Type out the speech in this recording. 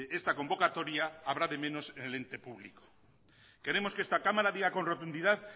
esta convocatoria habrá de menos en el ente público queremos que esta cámara diga con rotundidad